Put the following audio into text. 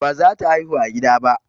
Baza ta haihu a gida ba.